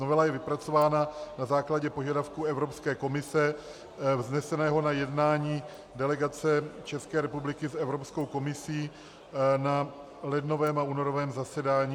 Novela je vypracována na základě požadavku Evropské komise vzneseného na jednání delegace České republiky s Evropskou komisí na lednovém a únorovém zasedání.